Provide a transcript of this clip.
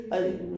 Og det